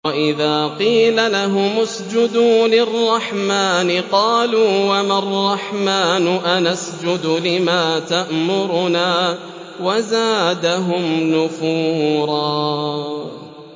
وَإِذَا قِيلَ لَهُمُ اسْجُدُوا لِلرَّحْمَٰنِ قَالُوا وَمَا الرَّحْمَٰنُ أَنَسْجُدُ لِمَا تَأْمُرُنَا وَزَادَهُمْ نُفُورًا ۩